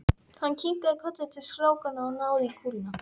Hann kinkaði kolli til strákanna og náði í kúluna.